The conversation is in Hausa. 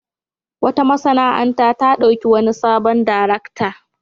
Wata masana'anta ta ɗauki wani sabon darakta.